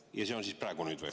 Ja see on siis praegu, nüüd või?